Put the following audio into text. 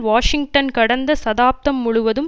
Washington கடந்த சதாப்தம் முழுவதும்